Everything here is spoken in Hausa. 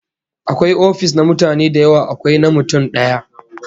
Akwai ofis na mutane da yawa, akwai na mutum daya